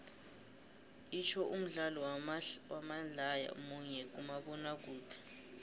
itsho umdlalo wamadlaya munye kumabonakude